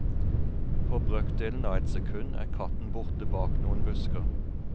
På brøkdelen av et sekund er katten borte bak noen busker.